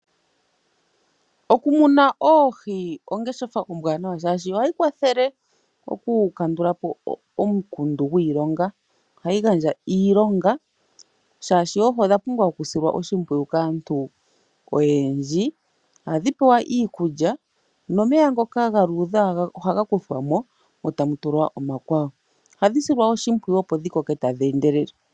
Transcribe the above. Okumuna oohi ongeshefa ombwanawa oshoka ohayi kwathele oku kandulapo omukundu gwiilonga. Ohayi gandja iilonga oshoka oohi odha pumbwa okusilwa oshimpwiyu kaantu oyendji. Ohadhi pewa iikulya nomeya ngoka ga luudha ohaga kuthwamo etamu tulwa omakwawo .ohadhi silwa oshimpwiyu opo dhi koke tadhi endelele.